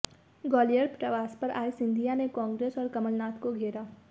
ग्वालियर प्रवास पर आये सिंधिया ने कांग्रेस और कमलनाथ को घेरा